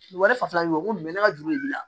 Wari fasa min bɛ bɔ ko mun bɛ ne ka juru b'i la